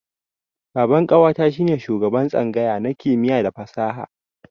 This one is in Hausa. Baban ƙawata shi ne shugaban tsangaya na kimiyya da fasaha.